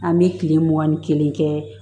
An bɛ tile mugan ni kelen kɛ